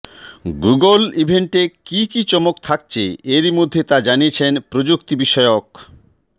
Google ইভেন্টে কী কী চমক থাকছে এরই মধ্যে তা জানিয়েছে প্রযুক্তিবিষয়ক